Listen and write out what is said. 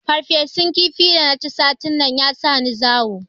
Farfesun kifi da na ci satin can ya sa ni zawo